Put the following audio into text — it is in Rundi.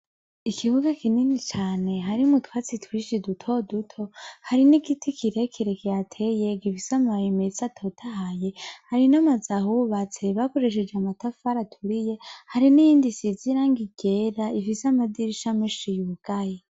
Ikibuga kinini cane hari mu twatsi twishi duto duto hari n'igiti kirhe kirekyateye gifisamaye metsa atotahaye hari n'amazaha ubatse bakoresheje amatafara aturiye hari n'iyindi sizirango igera ifise amadirisha menshi yugayi.